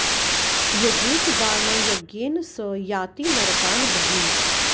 यजेत वा न यज्ञेन स याति नरकान् बहून्